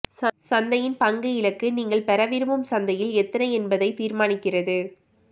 சந்தையின் பங்கு இலக்கு நீங்கள் பெற விரும்பும் சந்தையில் எத்தனை என்பதை தீர்மானிக்கிறது